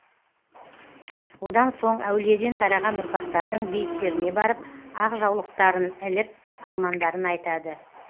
одан соң әулиеден тараған ұрпақтардың бейіттеріне барып ақ жаулықтарын іліп армандарын айтады